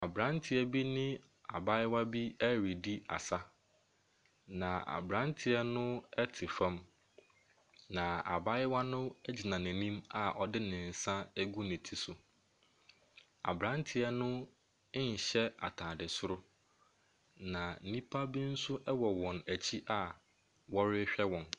Aberanteɛ bi ne abayewa bi redi asa, na aberanteɛ no te fam, na abayewa no gyina n'anim a ɔde ne nsa agu ne ti so. Aberanteɛ no nhyɛ atade soro, na nnipa bi nso wɔ wɔn akyi a wɔrehwɛ wɔn.